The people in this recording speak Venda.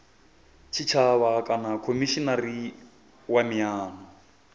tshitshavha kana khomishinari wa miano